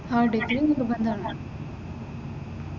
ആഹ് degree നിർബന്ധമാണ്.